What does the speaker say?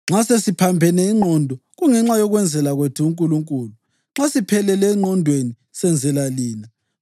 Nxa sesiphambene ingqondo, kungenxa yokwenzela kwethu uNkulunkulu; nxa siphelele engqondweni, senzela lina.